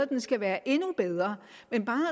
den skal være endnu bedre men bare